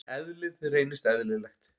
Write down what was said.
Eðlið reynist eðlilegt.